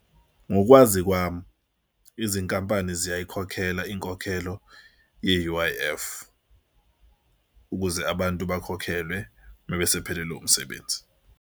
Ngokwazi kwami izinkampani ziyayikhokhela inkokhelo ye-U_I_F ukuze abantu bakhokhelwe mebesephelelwe umsebenzi.